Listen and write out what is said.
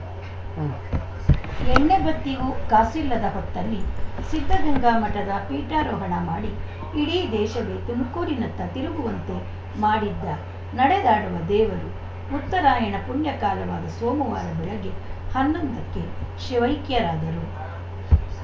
ಉಂ ಎಣ್ಣೆಬತ್ತಿಗೂ ಕಾಸಿಲ್ಲದ ಹೊತ್ತಲ್ಲಿ ಸಿದ್ಧಗಂಗಾ ಮಠದ ಪೀಠಾರೋಹಣ ಮಾಡಿ ಇಡೀ ದೇಶವೇ ತುಮಕೂರಿನತ್ತ ತಿರುಗುವಂತೆ ಮಾಡಿದ್ದ ನಡೆದಾಡುವ ದೇವರು ಉತ್ತರಾಯಣ ಪುಣ್ಯ ಕಾಲವಾದ ಸೋಮವಾರ ಬೆಳಗ್ಗೆ ಹನ್ನೊಂದಕ್ಕೆ ಶಿವೈಕ್ಯರಾದರು